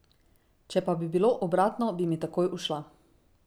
Če pa bi bilo obratno, bi mi takoj ušla.